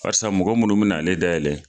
Farsa mɔgɔ munnu bɛna ale dayɛlɛ.